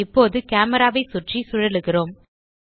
இப்போது கேமரா ஐ சுற்றி சுழலுகிறோம்